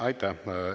Aitäh!